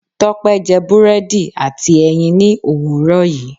Tópé je búrédì àti èyìn ni òwúrò yi